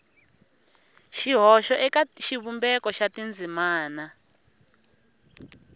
xihoxo eka xivumbeko xa tindzimana